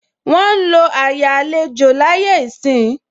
Wọn ń lo àyè àlejò láyé ìsín.